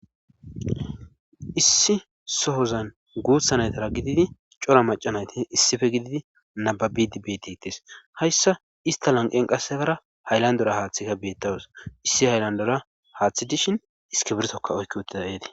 Issi sohozan guuthanaytara gididi cora macanayti issife gididi nababidi betitis hayssa ista lan qen qassefara haylandora haaththika beettawus issi hayllandora haaththi dishin iske birtoka oykki wotida eti.